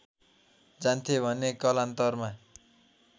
जान्थे भने कालान्तरमा